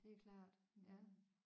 Det er klart ja